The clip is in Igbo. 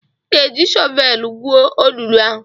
Ị ga-eji shọvelu gwuo olulu ahụ!